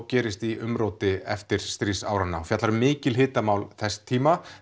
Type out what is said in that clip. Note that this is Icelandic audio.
gerist í umróti eftirstríðsáranna og fjallar um mikil hitamál þess tíma